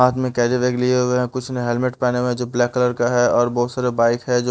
हाथ में carry bag लिए हुए हैं कुछ ने हेलमेट पहने में जो ब्लैक कलर का है और बहोत सारे बाइक है जो --